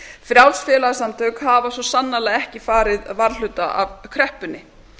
frjáls félagasamtök hafa svo sannarlega ekki farið varhluta af kreppunni